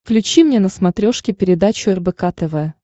включи мне на смотрешке передачу рбк тв